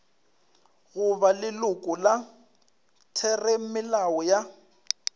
goba leloko la theramelao ya